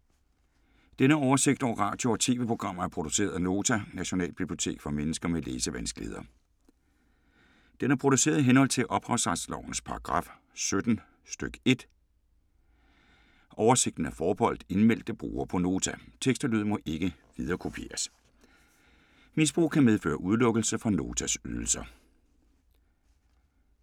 Denne oversigt over radio og TV-programmer er produceret af Nota, Nationalbibliotek for mennesker med læsevanskeligheder. Den er produceret i henhold til ophavsretslovens paragraf 17 stk. 1. Oversigten er forbeholdt indmeldte brugere på Nota. Tekst og lyd må ikke viderekopieres. Misbrug kan medføre udelukkelse fra at bruge Notas ydelser.